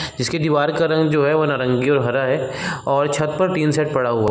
इसके दीवार का रंग जो है वो नारंगी और हरा है और छत पर टीन शेड पड़ा हुआ --